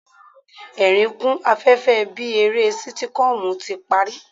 Ẹ̀ẹ̀rín kún afẹ́fẹ́ bí eré sítíkọ́ọ̀mù ti parí.